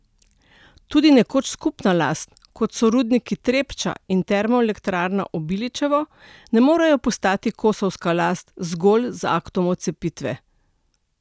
Tudi nekoč skupna last, kot so rudniki Trepča in termoelektrarna Obilićevo, ne morejo postati kosovska last zgolj z aktom odcepitve.